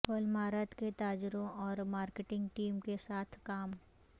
Walmart کے تاجروں اور مارکیٹنگ ٹیم کے ساتھ کام